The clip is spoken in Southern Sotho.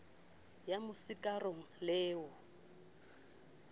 ya mo sikarong le ho